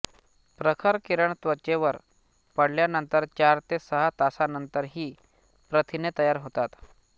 प्रखर किरण त्वचेवर पडल्यानंतर चार ते सहा तासानंतर ही प्रथिने तयार होतात